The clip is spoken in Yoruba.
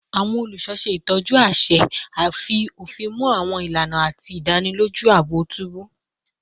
Awọn oluṣọ ṣe itọju aṣẹ, fi ofin mu awọn ilana, ati idaniloju aabo tubu